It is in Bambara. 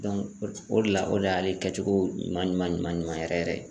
o de la o de y'ale kɛcogo ɲuman ɲuman ɲuman yɛrɛ yɛrɛ ye.